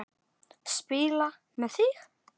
Spila með þig?